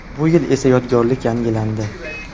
Bu yil esa, yodgorlik yangilandi.